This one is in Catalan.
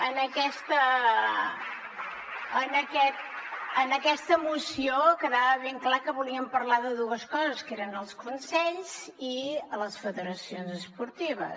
en aquesta moció quedava ben clar que volíem parlar de dues coses que eren els consells i les federacions esportives